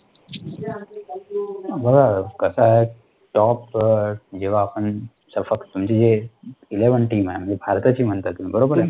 बघा, कसं आहे top जेव्हा आपण, म्हणजे ELEVEN TEAM आहे जी भारताची म्हणताय तुम्ही बरोबरा आहे?